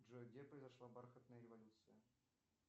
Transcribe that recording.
джой где произошла бархатная революция